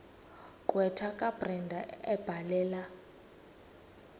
gqwetha kabrenda ebhalela